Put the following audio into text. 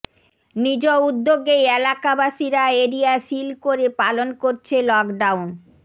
নিজ উদ্যোগেই এলাকাবাসীরা এরিয়া সিল করে পালন করছে লকডাউন